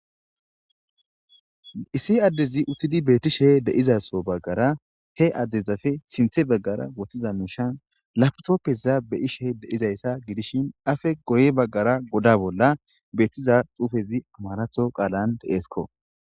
issi addezi uttidi beetishe de'izaso baggara he addezafe sinthe baggara wottiza muushan laptoppeza beishe deizayssa gidishin afe goy baggara goda bolla beettiza xuufezi amaratho qaalan deeesko